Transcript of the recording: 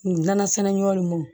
Nin nansɛnɛ ɲɔgɔn